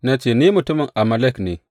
Na ce, Ni mutumin Amalek ne.’